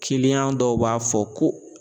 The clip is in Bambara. dɔw b'a fɔ ko